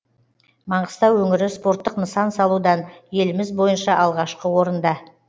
маңғыстау өңірі спорттық нысан салудан еліміз бойынша алғашқы орында